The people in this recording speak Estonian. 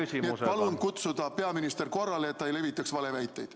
Nii et palun kutsuda peaministrit korrale, et ta ei levitaks valeväiteid.